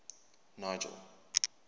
nigel